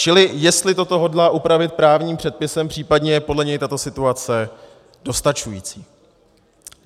Čili jestli toto hodlá upravit právním předpisem, případně je podle něj tato situace dostačující.